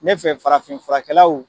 Ne fɛ farafin furakɛlaw